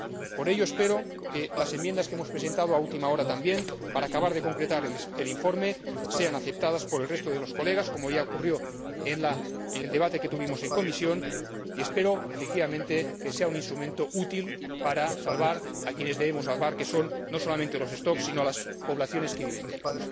Por ello espero que las enmiendas que hemos presentado a última hora, para acabar de concretar el informe, sean aceptadas por el resto de los colegas como ya ocurrió en el debate que tuvimos en comisión y espero, efectivamente, que sea un instrumento útil para salvar a quienes debemos salvar, que son no solamente los stocks, sino las poblaciones que viven de ellos.